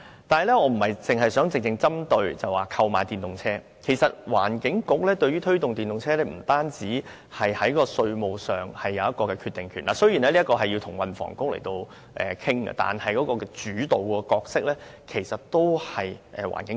但是，我不想只針對購買電動車的問題，因為環境局對於推動電動車的使用不止是在稅務上有決定權——雖然這需要與運輸及房屋局討論，但主導角色其實是環境局。